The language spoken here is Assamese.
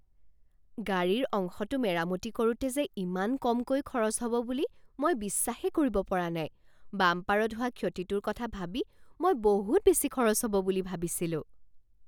গাড়ীৰ অংশটো মেৰামতি কৰোঁতে যে ইমান কমকৈ খৰচ হ'ব বুলি মই বিশ্বাসে কৰিব পৰা নাই! বাম্পাৰত হোৱা ক্ষতিটোৰ কথা ভাবি মই বহুত বেছি খৰচ হ'ব বুলি ভাবিছিলোঁ।